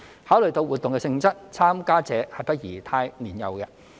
考慮到活動的性質，參加者不宜太年幼。